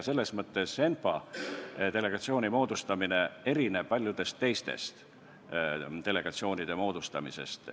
Selles mõttes erineb ENPA delegatsiooni moodustamine paljude teiste delegatsioonide moodustamisest.